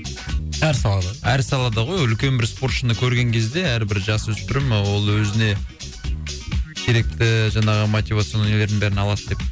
әр салада әр салада ғой үлкен бір спортшыны көрген кезде әрбір жасөспірім ол өзіне керекті ііі жаңағы мотивационный нелердің бәрін алады деп